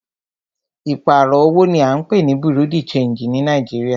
Ìpààrọ̀ owó ní à ń pé ní Bureau de changii ní Nàìjíríà.